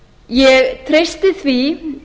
ég treysti því